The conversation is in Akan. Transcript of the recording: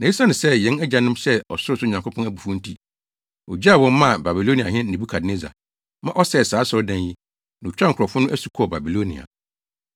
Na esiane sɛ yɛn agyanom hyɛɛ ɔsorosoro Nyankopɔn abufuw nti, ogyaa wɔn maa Babiloniahene Nebukadnessar, ma ɔsɛee saa asɔredan yi, na otwaa nkurɔfo no asu kɔɔ Babilonia.